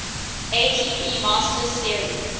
atp masters series